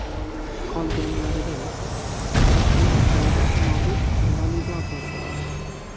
Qolganlarida esa chiptachilar qo‘lida mobil validator bo‘ladi.